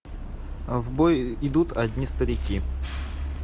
в бой идут одни старики